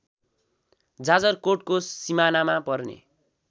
जाजरकोटको सिमानामा पर्ने